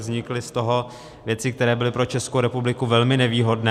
Vznikly z toho věci, které byly pro Českou republiku velmi nevýhodné.